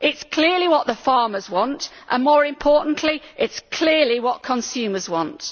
it is clearly what the farmers want and, more importantly, it is clearly what consumers want.